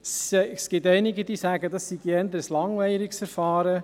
Es gibt einige, die sagen, es sei ein eher langweiliges Verfahren.